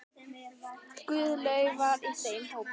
Guðlaug var í þeim hópi.